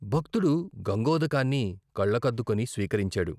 భక్తుడు గంగోదకాన్ని కళ్ళకద్దుకుని స్వీకరించాడు.